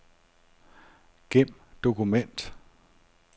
Gem dokument.